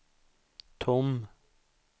tom